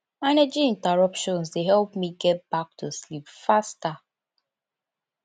managing interruptions dey help me get back to sleep faster